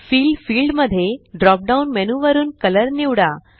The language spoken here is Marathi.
फिल फील्ड मध्ये ड्रॉप डाउन मेन्यू वरुन कलर निवडा